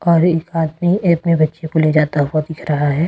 और एक आदमी अपने बच्चे को ले जाता हुआ दिख रहा है।